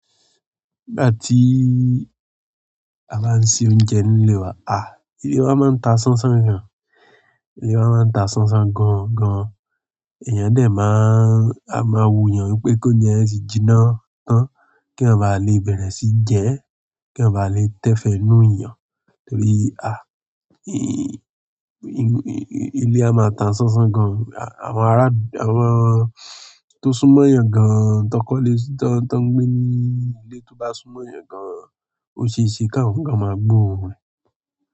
Nígbà tí a bá ń ṣe oúnjẹ nílé wa, à, ilé wa máa ń ta sánsán gan. Ilé wa máa ń ta sánsán gan gan. Èèyàn dè máa, a máa wuyàn wípé kóuje yen tì jinná tán kí eeyan ba lè bẹ̀rẹ̀ sí jẹ ẹ́, kí èèyàn ba lè tẹ́fẹ́ inú èèyàn. Torí inú ilé a máa ta sánsán gan. Àwọn ará, àwọn tó súnmọ́ èèyàn gan, tọkọ lẹ́, tó ń gbé ní ilé tó bá súnmọ́ èèyàn gan, ó ṣe ṣe k'awọn gan máa gbóòórùn e.